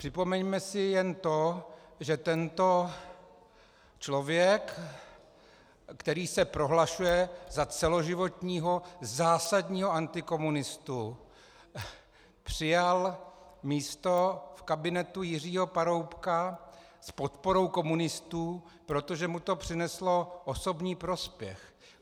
Připomeňme si jen to, že tento člověk, který se prohlašuje za celoživotního zásadního antikomunistu, přijal místo v kabinetu Jiřího Paroubka s podporou komunistů, protože mu to přineslo osobní prospěch.